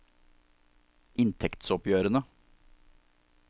inntektsoppgjørene